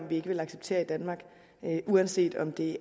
vi ikke vil acceptere i danmark uanset om det